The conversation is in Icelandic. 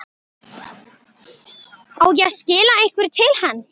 Á ég að skila einhverju til hans?